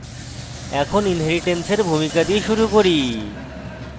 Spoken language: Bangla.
এখন inheritance এর ভূমিকা দিয়ে শুরু করি